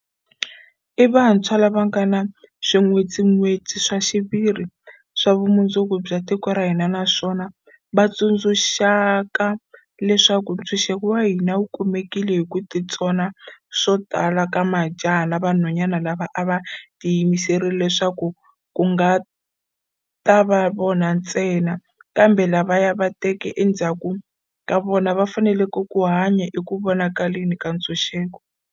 I vantshwa lava va nga swin'wetsin'wetsi swa xiviri swa vumundzuku bya tiko ra hina naswona lava va tsundzuxaka leswaku ntshunxeko wa hina wu kumekile hi ku titsona swo tala ka majaha na vanhwana lava a va tiyimiserile leswaku a ku nga ta va vona ntsena, kambe lavaya va teke endzhaku ka vona, va fanele ku hanya eku vonakaleni ka ntshunxeko.